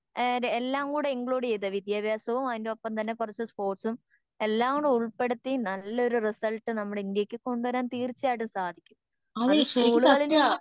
ഏഹ്ത് എല്ലാം കൂടെ ഇൻക്ലൂഡ് ചെയ്ത വിദ്യാഭ്യാസവും അതിൻ്റെ ഒപ്പം തന്നെ കുറച്ച് സ്പോർട്സും എല്ലാംകൂടി ഉൾപ്പെടുത്തി നല്ലൊരു റിസൾട്ട് നമ്മുടെ ഇന്ത്യക്ക് കൊണ്ടുവരാൻ തീർച്ചയായിട്ടും സാധിക്കും. അത് സ്കൂളുകളിൽ നിന്ന്